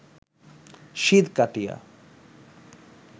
সিঁধ কাটিয়া